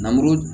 Namuru